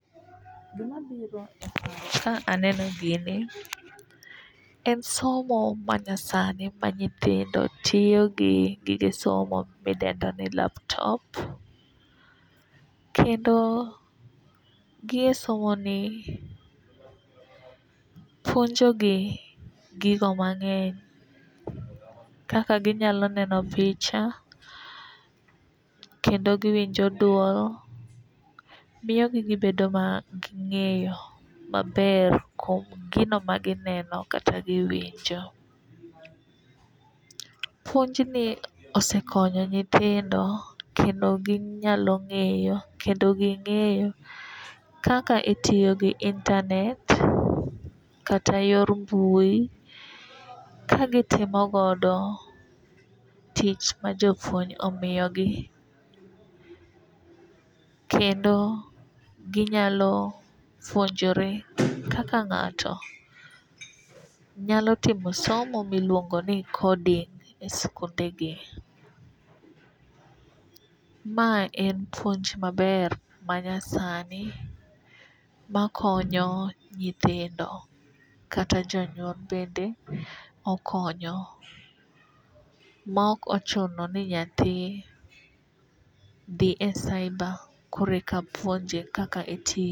Gima biro e pacha ka aneno gini en somo ma nyasani ma nyithindo tiyo gi gige somo midendo ni laptop. Kendo gi e somo ni puonjo gi gigo mang'eny kaka ginyalo neno picha kendo giwinjo duol miyo gi gibedo gi ng'eyo maber kuom gino ma gineno kata giwinjo. Puonj ni osekonyo nyithindo kendo ginyalo ng'eyo kendo ging'eyo kaka e tiyo gi internet kata yor mbui kagitimogodo tich ma jopuonj omiyogi. Kendo ginyalo puonjore kaka ng'ato nyalo timo somo miluongo ni coding e skunde gi. Mae en puonj maber manyasani makonyo nyithindo. Kata jonyuol bende okonyo ma ok ochuno ni nyathi dhi e cyber kore ka puonje kaka itimo.